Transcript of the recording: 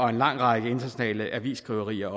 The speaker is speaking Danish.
af en lang række internationale avisskriverier